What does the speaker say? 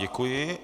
Děkuji.